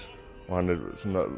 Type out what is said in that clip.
hann er